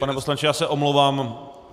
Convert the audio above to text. Pane poslanče, já se omlouvám.